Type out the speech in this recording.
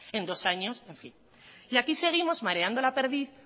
en dos años en fin y aquí seguimos mareando la perdiz